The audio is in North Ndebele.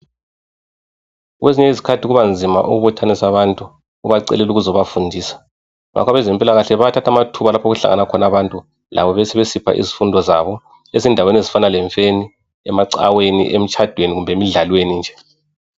Kwezinye izikhathi kuba nzima ukubuthanisa abantu ubacelela ukuzobafundisa, ngakho abezempilakahle bayathatha amathuba lapho okuhlangana khona abantu labo besesipha izifundo zabo. Ezindaweni ezifana lemfeni, emacaweni, emitshadweni kumbe emidlalweni nje.